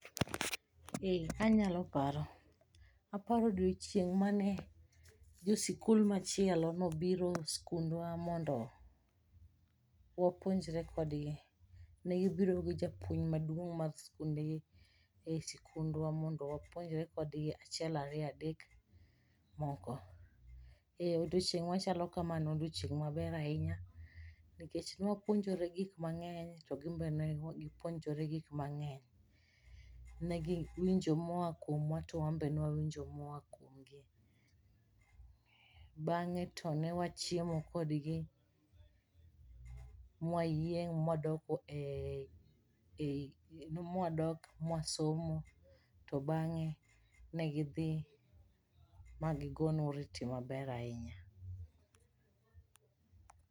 Anyalo paro, aparo odiochieng mane jo sikul machielo nobiro e sikundwa mondo wapuonjre kodgi. Ne gibiro gi japuonj maduong mar skundgi e sikundwa mondo wapuonjre kodgi achiel ariyo adek moko. Odiochieng' machalo kama ne en odiochieng maber ahinya nikech nwapuonjore gik mangeny to gimbe ne gipuonjore gik mangeny. Ne giwinjo moa kuomwa to wan, be ne wawinjo moa kuomgi . Bang'e to ne wachiemo kodgi mwayieng' mwadok e e mwadok mwasomo to bang'e ne gidhi ma gigonwa oriti maber ahinya.